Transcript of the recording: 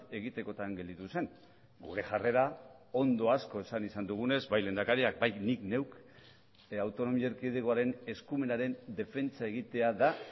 egitekotan gelditu zen gure jarrera ondo asko esan izan dugunez bai lehendakariak bai nik neuk autonomia erkidegoaren eskumenaren defentsa egitea da